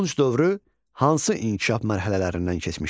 Tunc dövrü hansı inkişaf mərhələlərindən keçmişdir?